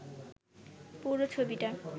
পুরো ছবিটা